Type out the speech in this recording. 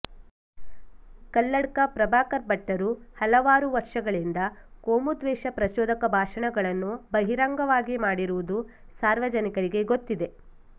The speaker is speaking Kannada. ಕಲ್ಲಡ್ಕ ಪ್ರಭಾಕರ ಭಟ್ಟರು ಹಲವಾರು ವರ್ಷಗಳಿಂದ ಕೋಮುದ್ವೇಷ ಪ್ರಚೋದಕ ಭಾಷಣಗಳನ್ನು ಬಹಿರಂಗವಾಗಿ ಮಾಡಿರುವುದು ಸಾರ್ವಜನಿಕರಿಗೆ ಗೊತ್ತಿದೆ